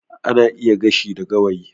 Ana iya gashi da gawayi